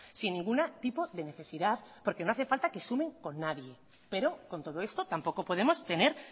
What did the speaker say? sin ningún tipo de necesidad porque no hace falta que sumen con nadie pero con todo esto tampoco podemos tener